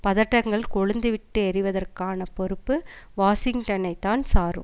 பதட்டங்கள் கொழுந்து விட்டு எரிவதற்கான பொறுப்பு வாஷிங்டனைத்தான் சாரும்